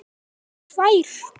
Rakst bara á tvær.